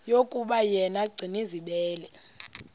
yokuba yena gcinizibele